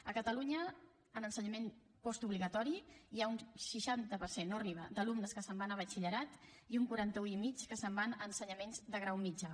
a catalunya en ensenyament postobligatori hi ha un seixanta per cent no arriba d’alumnes que se’n van a batxillerat i un quaranta un i mig que se’n van a ensenyaments de grau mitjà